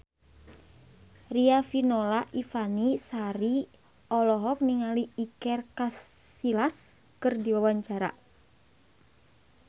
Riafinola Ifani Sari olohok ningali Iker Casillas keur diwawancara